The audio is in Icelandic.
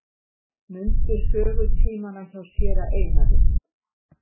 Mundu sögutímana hjá séra Einari.